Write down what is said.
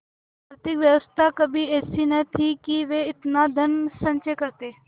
आर्थिक व्यवस्था कभी ऐसी न थी कि वे इतना धनसंचय करते